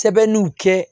Sɛbɛnniw kɛ